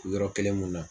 Yɔrɔ kelen mun na